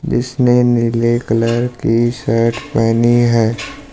जिसने नीले कलर की शर्ट पेहनी है।